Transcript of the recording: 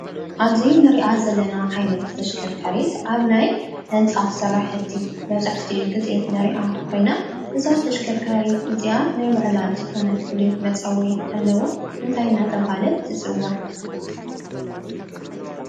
ኣብዚ እንሪኣ ዘለና ዓይነት ተሽከርካሪ ኣብ ናይ ህንፃ ስራሕቲ መብዛሕቲኡ ግዜ ንሪኣ ኮይና እዛ ተሽካርካሪት እዚኣ ናይ ባዕላ ዝኾነ ፉሉይ መፀውዒ ኣለዋ። እንታይ እንዳተባሃለት ትፅዋዕ?